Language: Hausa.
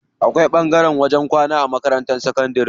Akwai ɓangaren wajen kwana a makarantar sakantari.